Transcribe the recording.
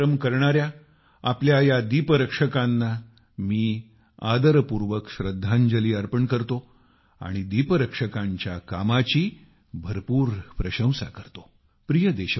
कठोर परिश्रम करणाऱ्या आपल्या या लाईट कीपर्सना मी आदरपूर्वक श्रद्धांजली अर्पण करतो आणि लाईट कीपर्सच्या कामाची भरपूर प्रशंसा करतो